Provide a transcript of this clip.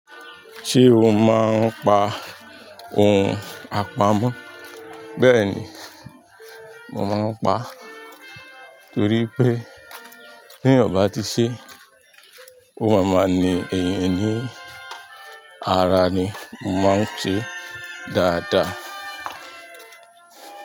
Ṣé o máa ń pa ohun àpamọ́? Bẹ́ẹ̀ ni, mo máa ń pa á torí pé teyan ọ̀ bá ti ṣe ó máa ma ni ẹ̀niyan ni ara ni mó máa ń ṣe dáadáa.